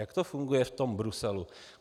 Jak to funguje v tom Bruselu?